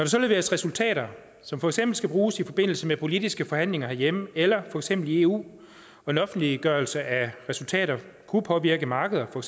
så leveres resultater som for eksempel skal bruges i forbindelse med politiske forhandlinger herhjemme eller for eksempel i eu og en offentliggørelse af resultater kunne påvirke markeder for